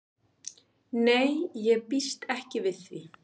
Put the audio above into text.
Nei ég býst ekki við því.